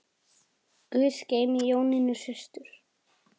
Guð geymi Jónínu systur.